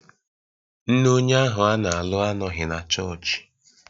Nne onye ahụ a na-alụ anọghị na chọọchị